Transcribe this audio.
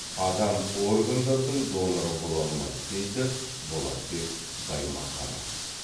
адам органдардың доноры бола алмайды дейді болатбек баймаханов